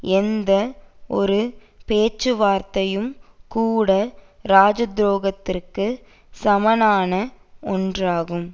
எந்த ஒரு பேச்சுவார்த்தையும் கூட ராஜதுரோகத்துக்கு சமனான ஒன்றாகும்